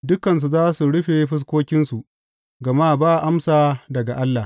Dukansu za su rufe fuskokinsu gama ba amsa daga Allah.